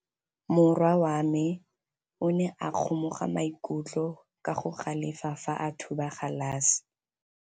Morwa wa me o ne a kgomoga maikutlo ka go galefa fa a thuba galase.